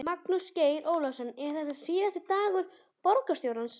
Magnús Geir Eyjólfsson: Er þetta síðasti dagur borgarstjóra?